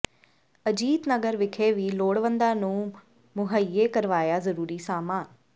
ਅਜੀਤ ਨਗਰ ਵਿਖੇ ਵੀ ਲੋੜਵੰਦਾਂ ਨੂੰ ਮੁਹੱਈਆ ਕਰਵਾਇਆ ਜ਼ਰੂਰੀ ਸਾਮਾਨ